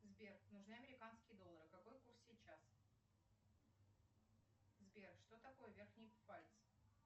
сбер нужны американские доллары какой курс сейчас сбер что такое верхний пфальц